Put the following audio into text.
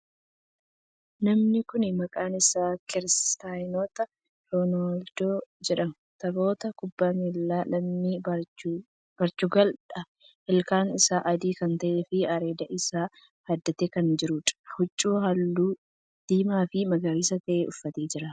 Namni kuni maqaan isaa Kiristiyaanoo Roonaaldoo jedhama. Taphataa kubbaa miilaa lammii Poorchugaal dha. Ilkaan isaa adii kan ta'ee fi areeda isaa haaddatee kan jiruudha. Huccuu halluu diimaa fi magariisa ta'e uffatee jira.